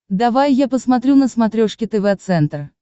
давай я посмотрю на смотрешке тв центр